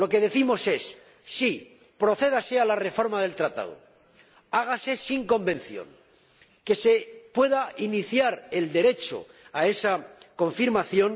Lo que decimos es sí, procédase a la reforma del Tratado, hágase sin Convención, que se pueda iniciar el derecho a esa confirmación.